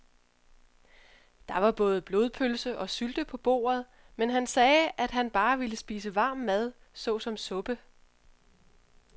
Der var både blodpølse og sylte på bordet, men han sagde, at han bare ville spise varm mad såsom suppe.